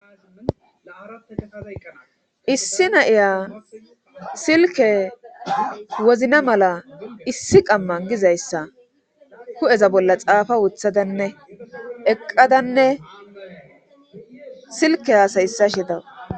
Issi nayiya silke wozna mala issi qamman gizayssa ku'eza bolla xaafa wuthadanne eqqadanne silke haasayissa shedawu.